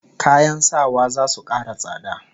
Kayan sawa zasu kara tsada